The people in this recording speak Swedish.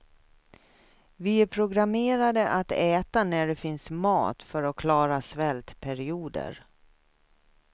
Vi är programmerade att äta när det finns mat för att klara svältperioder.